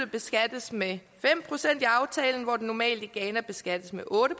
beskattes med fem procent i aftalen hvor den normalt i ghana beskattes med otte